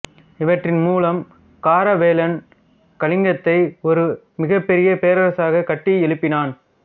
இவற்றின் மூலம் காரவேலன் கலிங்கத்தை ஒரு மிகப்பெரிய பேரரசாகக் கட்டியெழுப்பினான்